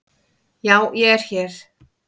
Já ég er hér.